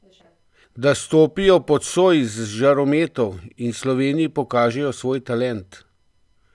Da stopijo pod soj žarometov in Sloveniji pokažejo svoj talent!